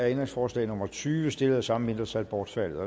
ændringsforslag nummer tyve stillet af samme mindretal bortfaldet